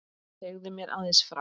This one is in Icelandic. Segðu mér aðeins frá því.